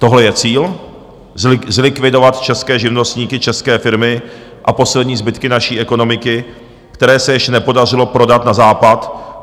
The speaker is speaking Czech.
Tohle je cíl, zlikvidovat české živnostníky, české firmy a poslední zbytky naší ekonomiky, které se ještě nepodařilo prodat na Západ?